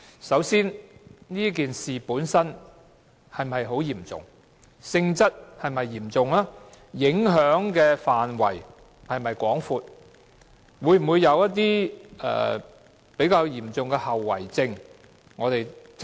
首先，事件本身是否很嚴重，其性質是否嚴重，影響範圍是否廣泛，事件會否帶來嚴重的後遺症。